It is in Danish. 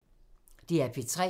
DR P3